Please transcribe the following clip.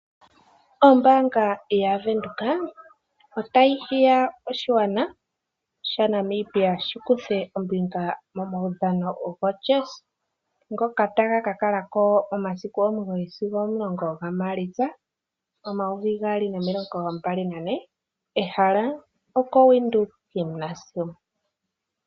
Ombaanga yaVenduka otayi hiya oshigwana shi kuthe ombinga momaudhano gokondje ngoka taga ka kala ko momasiku 9-10 Maalitsa 2024, ehala oko Windhoek Gymnasium.